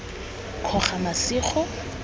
kgogamasigo